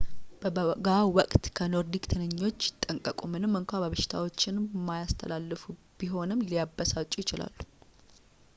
በበጋ ወቅት ከኖርዲክ ትንኞች ይጠንቀቁ ምንም እንኳን በሽታዎችን የማያስተላለፉ ቢሆንም ሊያበሳጩ ይችላሉ